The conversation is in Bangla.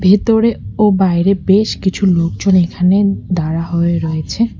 ভেতরে ও বাইরে বেশ কিছু লোকজন এখানে দাঁড়া হয়ে রয়েছে।